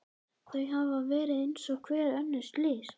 Þau hafa verið eins og hver önnur slys.